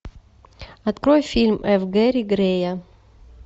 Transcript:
открой фильм ф гэри грея